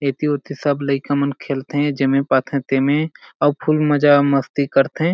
एती-उति सब लइका मन खेलथे जेमे पाथे तेमे अउ फुल मजा मस्ती करत हे।